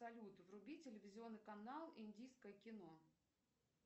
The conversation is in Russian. салют вруби телевизионный канал индийское кино